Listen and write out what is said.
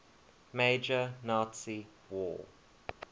major nazi war